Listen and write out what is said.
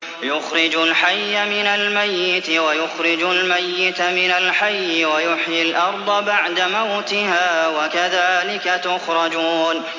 يُخْرِجُ الْحَيَّ مِنَ الْمَيِّتِ وَيُخْرِجُ الْمَيِّتَ مِنَ الْحَيِّ وَيُحْيِي الْأَرْضَ بَعْدَ مَوْتِهَا ۚ وَكَذَٰلِكَ تُخْرَجُونَ